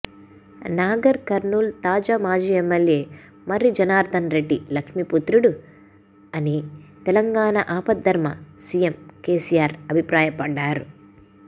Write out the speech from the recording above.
నాగర్ కర్నూల్ తాజా మాజీ ఎమ్మెల్యే మర్రి జనార్థన్ రెడ్డి లక్ష్మీపుత్రుడు అని తెలంగాణ ఆపద్ధర్మ సీఎం కేసీఆర్ అభిప్రాయపడ్డారు